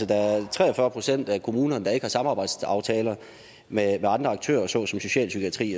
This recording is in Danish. der er tre og fyrre procent af kommunerne der ikke har samarbejdsaftaler med andre aktører såsom socialpsykiatri